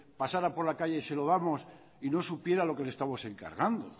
pasara por la calle y se lo damos y no supiera lo que le estamos encargando